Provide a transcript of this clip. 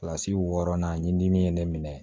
Kilasi wɔɔrɔnan dimi ye ne minɛ